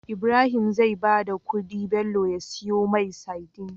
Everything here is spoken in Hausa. Ibrahim zai bada kudi Bello ya siyo mai sadin